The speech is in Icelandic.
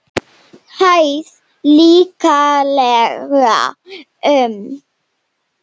Hæð líklega um